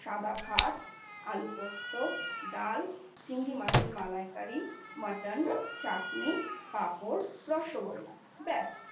সাদা ভাত, আলু পোস্ত, ডাল , চিংড়ি মাছের মালাইকারি ,মটন , চাটনি , পাঁপড় , রসগোল্লা ব্যাস